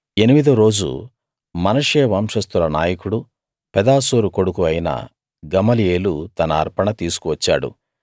ఎనిమిదో రోజు మనష్శే వంశస్తుల నాయకుడూ పెదాసూరు కొడుకూ అయిన గమలీయేలు తన అర్పణ తీసుకువచ్చాడు